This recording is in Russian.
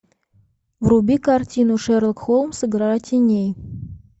вруби картину шерлок холмс игра теней